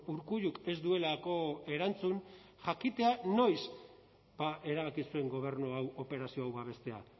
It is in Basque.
urkulluk ez duelako erantzun jakitea noiz erabaki zuen gobernu hau operazio hau babestea